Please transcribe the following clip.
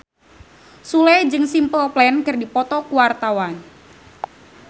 Sule jeung Simple Plan keur dipoto ku wartawan